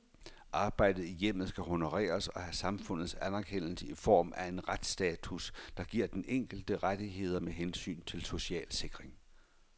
Arbejdet i hjemmet skal honoreres og have samfundets anerkendelse i form af en retsstatus, der giver den enkelte rettigheder med hensyn til social sikring.